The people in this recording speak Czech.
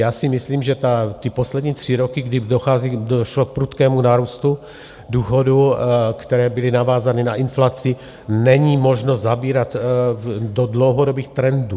Já si myslím, že ty poslední tři roky, kdy došlo k prudkému nárůstu důchodů, které byly navázány na inflaci, není možno zabírat do dlouhodobých trendů.